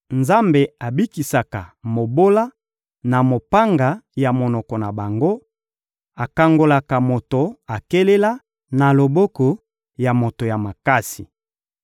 Nzambe abikisaka mobola na mopanga ya monoko na bango, akangolaka moto akelela na loboko ya moto ya makasi.